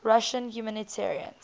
russian humanitarians